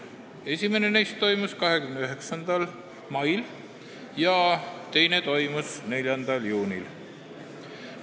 Esimene neist toimus 29. mail ja teine 4. juunil.